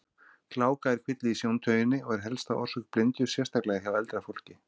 Gláka er kvilli í sjóntauginni og er helsta orsök blindu, sérstaklega hjá eldra fólki.